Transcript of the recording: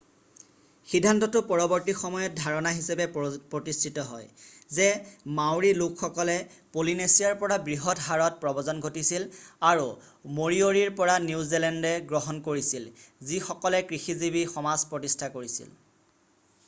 সিদ্ধান্তটো পৰবৰ্তী সময়ত ধাৰণা হিচাপে প্ৰতিষ্ঠিত হয় যে মাউৰী লোকসকল পলিনেচিয়াৰ পৰা বৃহৎ হাৰত প্ৰব্ৰজন ঘটিছিল আৰু মৰিয়ৰিৰ পৰা নিউজিলেণ্ডে গ্ৰহণ কৰিছিল যিসকলে কৃষিজীৱি সমাজ প্ৰতিষ্ঠা কৰিছিল